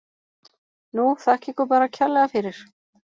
Nú, þakka ykkur bara kærlega fyrir.